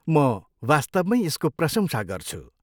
म वास्तवमैँ यसको प्रशंसा गर्छु।